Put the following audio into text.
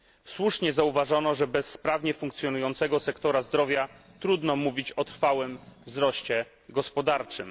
Słusznie zauważono, że bez sprawnie funkcjonującego sektora zdrowia, trudno mówić o trwałym wzroście gospodarczym.